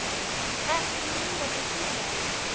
Ekki mínútu síðar